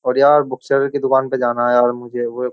और यार book seller की दुकान पे जाना है यार मुझे वो ए --